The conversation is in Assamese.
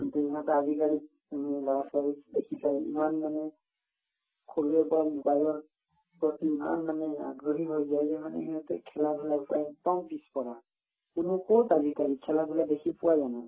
কিন্তু ইহঁতে আজিকালিৰ উম লৰা-ছোৱালিৰ বেছিভাগেই ইমান মানে সৰুৰে পৰা mobile ৰ প্ৰতি ইমান মানে আগ্ৰহী হৈ গল যে মানে সিহঁতে খেলা-ধূলা কৰাত সদায় পিছপৰা কিন্তু কত আজিকালি খেলা-ধূলা পোৱা জানো